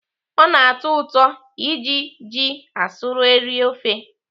Ọ na-atọ ụtọ iji ji asụrụ eri ofe.